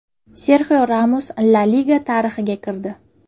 Serxio Ramos La Liga tarixiga kirdi.